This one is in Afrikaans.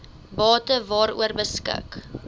bate waaroor beskik